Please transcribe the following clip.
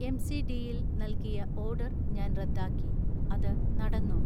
എംസിഡിയിൽൽ നൽകിയ ഓർഡർ ഞാൻ റദ്ദാക്കി, അത് നടന്നോ